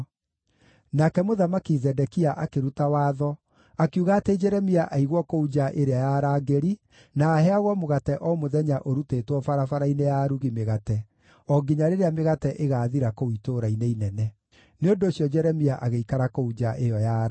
Nake Mũthamaki Zedekia akĩruta watho, akiuga atĩ Jeremia aigwo kũu nja ĩrĩa ya arangĩri, na aheagwo mũgate o mũthenya ũrutĩtwo barabara-inĩ ya arugi mĩgate, o nginya rĩrĩa mĩgate ĩgaathira kũu itũũra-inĩ inene. Nĩ ũndũ ũcio Jeremia agĩikara kũu nja ĩyo ya arangĩri.